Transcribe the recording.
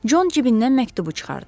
Con cibindən məktubu çıxartdı.